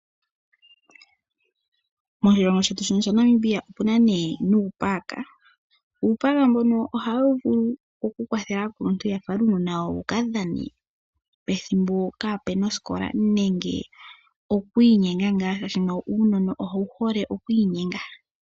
Moshilongo shetu sha Namibia omuna uupaaaka. Uupaaka mbono ohawu vulu okukwathele aakuluntu ya fale uunona wawo wuka dhane pethimbo pwaana osikola, nenge oku inyenga ngaa molwaashono uunona owu hole oku inyenga.